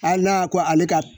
Hali n'a ko ale ka